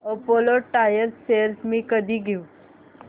Apollo tyres shares मी कधी घेऊ